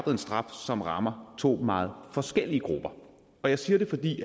en straf som rammer to meget forskellige grupper jeg siger det fordi